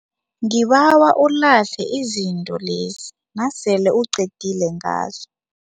Ngibawa ulahle izinto lezi nasele uqedile ngazo.